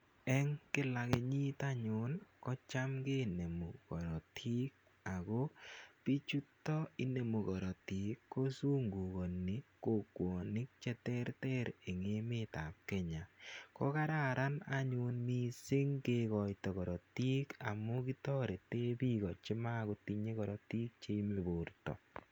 Eng' kila kenyit anyun ko cham kinemu karatik. Ako pichuto inemu karatik ko zungukani kokwanik che terter eng' emetap Kenya. Ko kararan anyun missing' kikaita karatik amu kitarete piko che mako tinye karatik che yame porta.